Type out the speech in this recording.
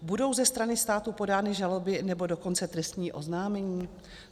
Budou ze strany státu podány žaloby, nebo dokonce trestní oznámení?